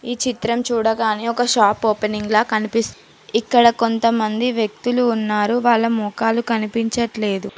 ఈ చిత్రం చూడగానే ఒక షాప్ ఓపెనింగ్ లా కనిపిస్ ఇక్కడ కొంతమంది వ్యక్తులు ఉన్నారు వాళ్ళ మొఖాలు కనిపించట్లేదు.